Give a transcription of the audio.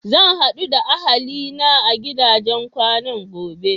Zan haɗu da ahali na a gidajen kwanan gobe.